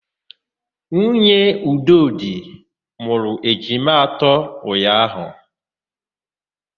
Nwunye Udodị mụrụ ejima atọ ụnyaahụ.